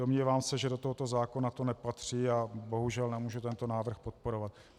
Domnívám se, že do tohoto zákona to nepatří, a bohužel nemůžu tento návrh podporovat.